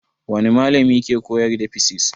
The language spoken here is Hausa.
Wani malami ke koyar da fisis?